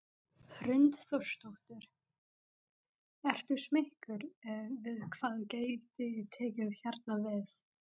Hrund Þórsdóttir: Ertu smeykur við hvað gæti tekið hérna við?